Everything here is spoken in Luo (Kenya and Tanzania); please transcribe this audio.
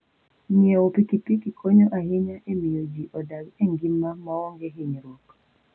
Ng'iewo pikipiki konyo ahinya e miyo ji odag e ngima maonge hinyruok.